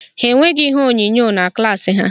Ha enweghị ihe onyonyo na klaasị ha